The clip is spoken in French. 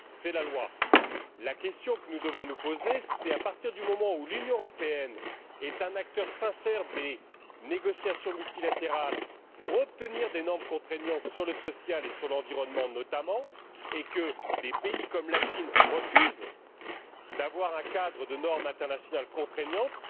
C'est la loi. Alors, à partir du moment où l'Union européenne est un acteur sincère des négociations multilatérales visant à obtenir des normes contraignantes sur le social et sur l'environnement, notamment, et que des pays comme la Chine refusent d'avoir un cadre de normes internationales contraignantes,